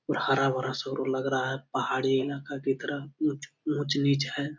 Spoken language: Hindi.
और हरा-भरा सगरो लग रहा है। पहाड़ी इलाका की तरह ऊंच ऊंच-नीच है।